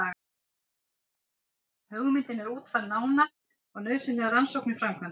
Hugmyndin er útfærð nánar og nauðsynlegar rannsóknir framkvæmdar.